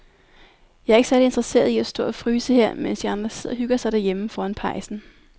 Jeg er ikke særlig interesseret i at stå og fryse her, mens de andre sidder og hygger sig derhjemme foran pejsen.